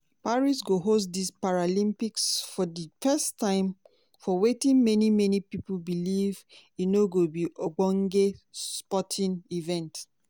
paris go host di paralympics for di first time for wetin many many believe say e go be ogbonge sporting event.